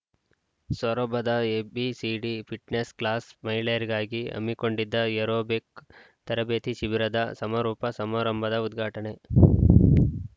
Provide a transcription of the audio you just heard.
ಸೊರಬದ ABCD fitness class ಮಹಿಳೆಯರಿಗಾಗಿ ಹಮ್ಮಿಕೊಂಡಿದ್ದ aerobic ತರಬೇತಿ ಶಿಬಿರದ ಸಮಾರೋಪ ಸಮಾರಂಭದ ಉದ್ಘಾಟನೆ